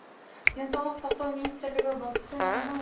денсаулық сақтау министрлігі вакцинаның